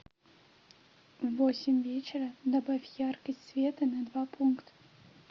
в восемь вечера добавь яркость света на два пункта